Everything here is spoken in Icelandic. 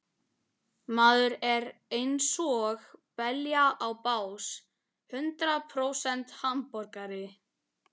Maður er einsog belja á bás, hundrað prósent hamborgari.